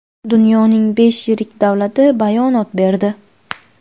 Dunyoning besh yirik davlati bayonot berdi.